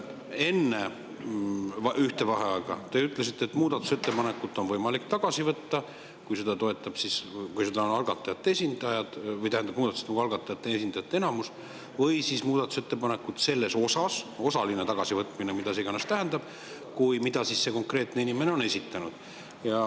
Enne ühte vaheaega te ütlesite, et muudatusettepanekut on võimalik tagasi võtta, kui seda toetab esitajate enamus, või siis muudatusettepaneku selle osa – osaline tagasivõtmine, mida iganes see tähendab –, mille konkreetne inimene on esitanud.